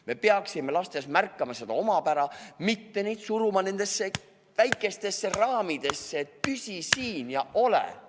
Me peaksime lastes märkama nende omapära, mitte suruma neid kitsastesse raamidesse, et püsi siin ja ole paigal.